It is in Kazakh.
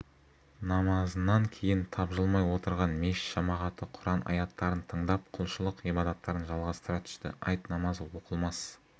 намазынан кейін тапжылмай отырған мешіт жамағаты құран аяттарын тыңдап құлшылық-ғибадаттарын жалғастыра түсті айт намазы оқылмас